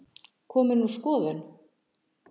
Komin úr skoðun